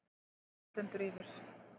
Mokstur stendur yfir